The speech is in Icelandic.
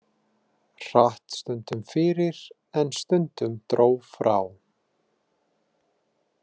Hratt stundum fyrir en stundum dró frá.